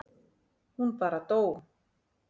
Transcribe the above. Hún bara dó.